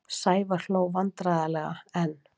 Sævar hló vandræðalega en